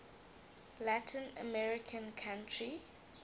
latin american country